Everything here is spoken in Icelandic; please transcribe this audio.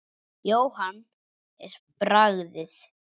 Jóhann: En bragðið?